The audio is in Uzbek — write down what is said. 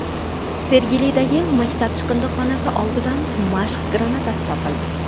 Sergelidagi maktab chiqindixonasi oldidan mashq granatasi topildi.